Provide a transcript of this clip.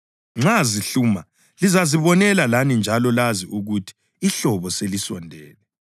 Nxa zihluma lizazibonela lani njalo lazi ukuthi ihlobo selisondele.